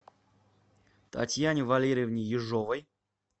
татьяне валерьевне ежовой